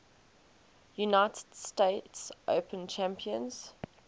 united states open champions